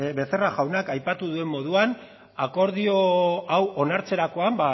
becerra jaunak aipatu duen moduan akordio hau onartzerakoan